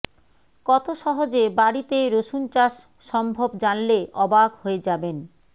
কত সহজে বাড়িতে রসুন চাষ সম্ভব জানলে অবাক হয়ে যাবেন